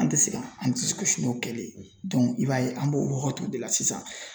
An tɛ se ka an disi n'o kɛli ye i b'a ye an b'o wagatiw de la sisan.